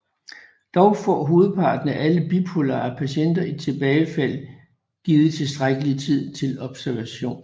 Dog får hovedparten af alle bipolare patienter et tilbagefald givet tilstrækkelig tid til observation